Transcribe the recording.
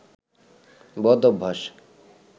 বদ অভ্যাস